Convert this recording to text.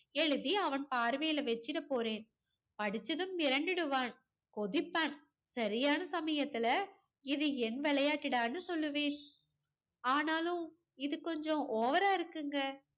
எழுதி அவன் பார்வையில வச்சுடப் போறேன். படிச்சதும் மிரண்டுடுவான். கொதிப்பான். சரியான சமயத்துல இது என் விளையாட்டுடான்னு சொல்லுவேன். ஆனாலும் இது கொஞ்சம் over ஆ இருக்குங்க.